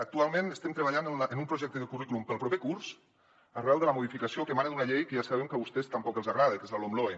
actualment estem treballant en un projecte de currículum per al proper curs arran de la modificació que emana d’una llei que ja sabem que a vostès tampoc els agrada que és la lomloe